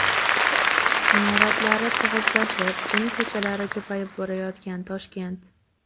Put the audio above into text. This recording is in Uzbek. Imoratlari tig‘izlashib, jin ko‘chalari ko‘payib borayotgan Toshkent.